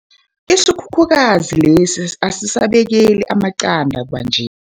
Isikhukhukazi lesi asisabekeli amaqanda kwanje.